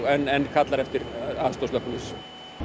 en kallar eftir aðstoð slökkviliðs á